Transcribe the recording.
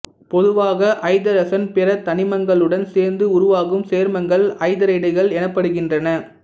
பொதுவாக ஐதரசன் பிற தனிமங்களுடன் சேர்ந்து உருவாகும் சேர்மங்கள் ஐதரைடுகள் எனப்படுகின்றன